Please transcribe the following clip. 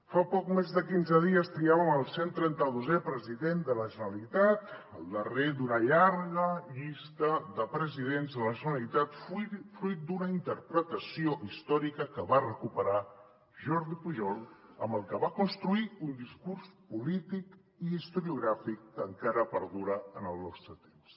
fa poc més de quinze dies triàvem el 132è president de la generalitat el darrer d’una llarga llista de presidents de la generalitat fruit d’una interpretació històrica que va recuperar jordi pujol amb el que va construir un discurs polític i historiogràfic que encara perdura en el nostre temps